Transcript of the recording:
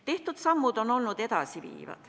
Tehtud sammud on olnud edasiviivad.